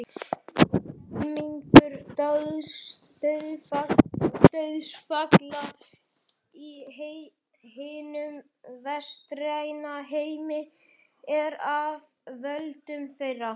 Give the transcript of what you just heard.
Helmingur dauðsfalla í hinum vestræna heimi er af völdum þeirra.